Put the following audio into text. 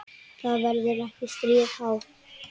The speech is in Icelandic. Það verður ekkert stríð háð.